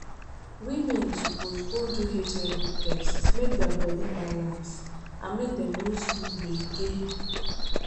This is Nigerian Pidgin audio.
women suppose go do hiv test make their body balance and make dem no see gbege.